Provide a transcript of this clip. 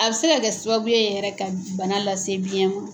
A bɛ se ka kɛ sababu ye yɛrɛ ka bana lase biyɛn ma.